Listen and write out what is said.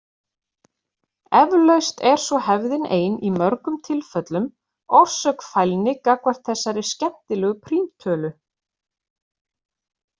Eflaust er svo hefðin ein í mörgum tilfellum orsök fælni gagnvart þessari skemmtilegu prímtölu.